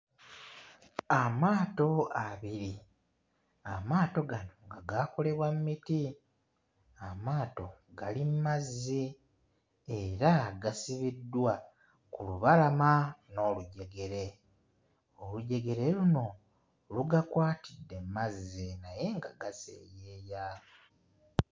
Amaato abiri, amaato gano nga gaakolebwa mu miti, amaato gali mu mazzi era gasibiddwa ku lubalama n'olujegere. Olujegere luno lugakwatidde mu mazzi naye nga gaseeyeeya.